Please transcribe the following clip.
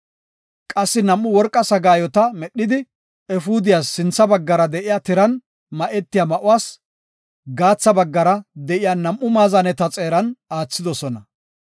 Qassi nam7u worqa sagaayota medhidi, efuudiyas sintha baggara de7iya tiran ma7etiya ma7uwas, gaatha baggara de7iya nam7u maazaneta xeeran aathidosona.